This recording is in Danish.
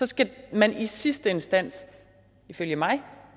skal man i sidste instans ifølge mig